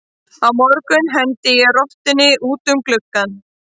Á morgun hendi ég rottunni út um gluggann.